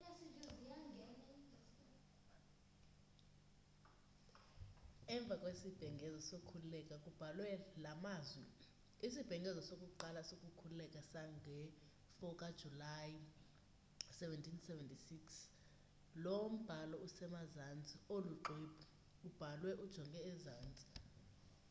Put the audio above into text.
emva kwisibhengezo sokukhululeka kubhalwe la mazwi isibhengezo sokuqala sokukhululeka sange-4 kajulayi 1776 lo mbhalo usemazantsi olo xwebhu ubhalwe ujonge ezantsi